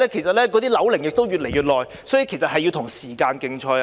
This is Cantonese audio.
鑒於樓齡越來越高，局長要與時間競賽。